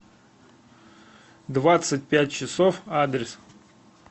двадцать пять часов адрес